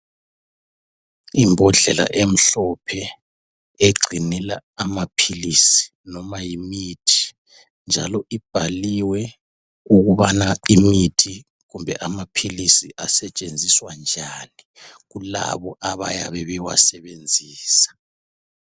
Imbhodlela emhlophe egcinela amaphilisi noma yimithi njalo ibhaliwe ukubana imithi kumbe amaphilisi asetshenziswa njani kulabo abayabe bewasebenzisa